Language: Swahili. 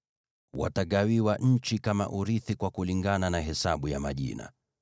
“Watagawiwa nchi kama urithi kwa kulingana na hesabu ya majina.